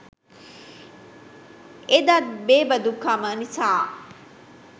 එදත් බේබදුකම නිසා